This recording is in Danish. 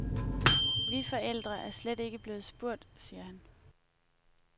Vi forældre er slet ikke blevet spurgt, siger han.